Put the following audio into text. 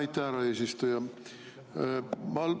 Aitäh, härra eesistuja!